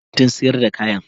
Kar ka je kantin sayar da kayan